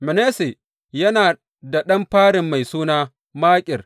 Manasse yana da ɗan farin mai suna Makir.